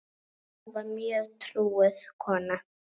Lilla var mjög trúuð kona.